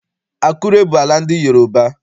Akure bụ ala ndị Yoroba.